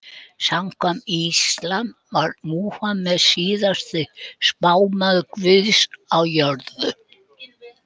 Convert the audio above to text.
Samkvæmt íslam var Múhameð síðasti spámaður guðs á jörðu.